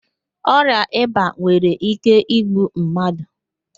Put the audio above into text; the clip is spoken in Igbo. Ọrịa ịba nwere íké igbu mmadụ.